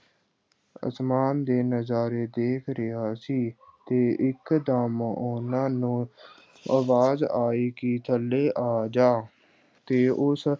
ਅਸਮਾਨ ਦੇ ਨਜ਼ਾਰੇ ਦੇਖ ਰਿਹਾ ਸੀ ਤੇ ਇੱਕਦਮ ਉਹਨਾਂ ਨੂੰ ਆਵਾਜ਼ ਆਈ ਕਿ ਥੱਲੇ ਆ ਜਾ, ਤੇ ਉਸ